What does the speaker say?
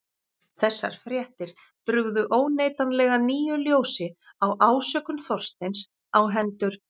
Þessar fréttir brugðu óneitanlega nýju ljósi á ásökun Þorsteins á hendur